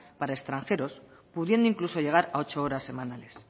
para extranjeros pudiendo incluso llegar a ocho horas semanales